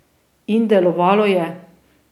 In delovalo je.